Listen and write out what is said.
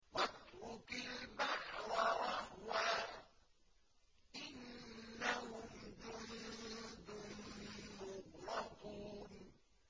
وَاتْرُكِ الْبَحْرَ رَهْوًا ۖ إِنَّهُمْ جُندٌ مُّغْرَقُونَ